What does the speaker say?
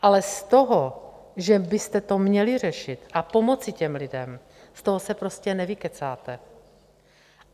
Ale z toho, že byste to měli řešit a pomoci těm lidem, z toho se prostě nevykecáte.